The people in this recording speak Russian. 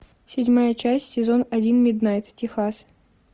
седьмая часть сезон один миднайт техас